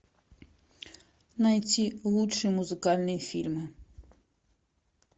найти лучшие музыкальные фильмы